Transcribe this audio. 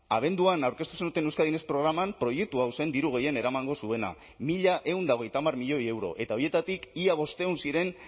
abenduan aurkeztu zenuten euskadi next programan proiektu hau zen diru gehien eramango zuena mila ehun eta hogeita hamar milioi euro eta horietatik ia bostehun ziren